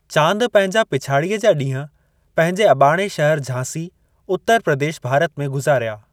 चांद, पंहिंजा पिछाड़ीअ जा ॾींहं पंहिंजे अॿाणे शहर झांसी, उत्तर प्रदेश, भारत में गुज़ारिया।